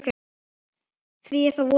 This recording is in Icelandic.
Því þá er voðinn vís.